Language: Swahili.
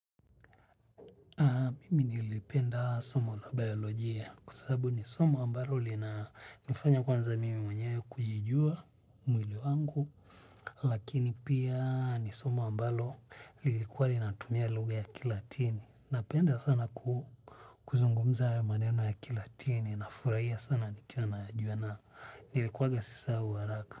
Mimini ilipenda somo la biolojia kusabu ni somo ambalo lina nifanya kwanza mimi mwenyewe kujijua mwili wangu. Lakini pia ni somo ambalo lilikuwa linatumia luga ya kilatini. Napenda sana kuzungumza ya maneno ya kilatini na furaia sana nikia na juana. Nilikuwa gasisa uwaraka.